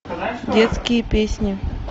детские песни